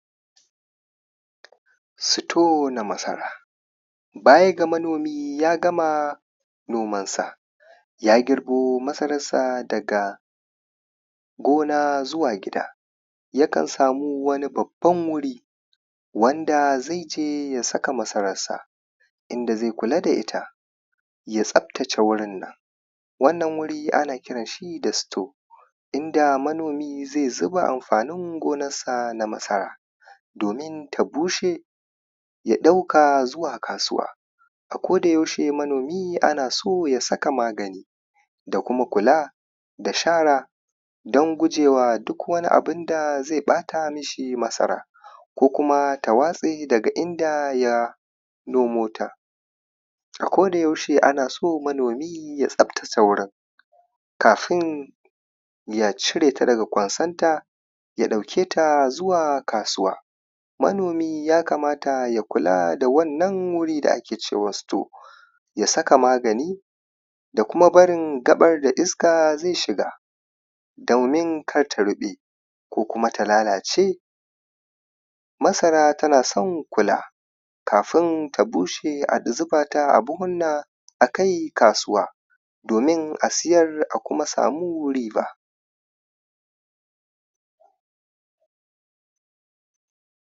store na masara ba ya ga manomi ya gama nomansa ya girbo masararsa daga gona zuwa gida yakan samu wani babban wuri wanda zaI je ya saka masararsa inda zai kula da ita ya tsaftace wurinnan wannan wuri ana kiran shi da store inda manomi zai zuba amfanin gonarsa na masara domin ta bushe ya ɗauka zuwa kasuwa a koda yaushe manomi ana so ya saka magani da kuma kula da shara don gujewa duk wani abinda zai ɓata mishi masara ko kuma ta watse daga inda ya nomota a koda yaushe ana so manomi ya tsaftace wurin kafin ya cire ta daga ƙwansanta ya ɗauke ta zuwa kasuwa manomi ya kamata ya kula da wannan wuri da ake cewa store ya saka magani da kuma barin gaɓar da iska zai shiga domin kar ta ruɓe ko kuma ta lalace masara tana son kula kafin ta bushe a zuba ta a buhunna a kai kasuwa domin a siyar a kuma samu riba